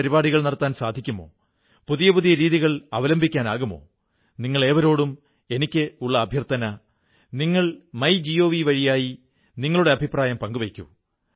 വൈചാരികമായ ഗഹനത നൈതികമായ ധൈര്യം രാജനൈതികമായ വൈശിഷ്ട്യം കൃഷിമേഖലയെക്കുറിച്ച് ആഴത്തിലുള്ള അറിവ് ദേശീയ ഐക്യത്തെക്കുറിച്ച് സമർപ്പണമനോഭാവം